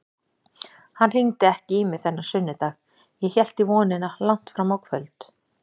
Hann hringdi ekki í mig þennan sunnudag, ég hélt í vonina langt fram á kvöld.